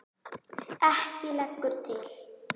Ekki lengur til!